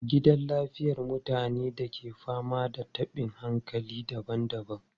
Gidan lafiyar mutanen ke fama da tabin hankali daban-daban.